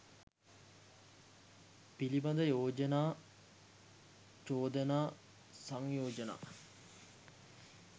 පිළිබඳ යෝජනා චෝදනා සංයෝජනා